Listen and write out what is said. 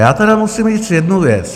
Já tedy musím říct jednu věc.